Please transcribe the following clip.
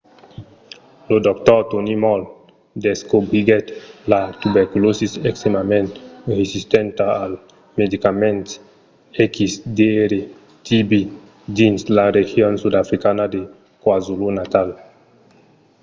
lo dr. tony moll descobriguèt la tuberculòsi extrèmament resistenta als medicament xdr-tb dins la region sudafricana de kwazulu-natal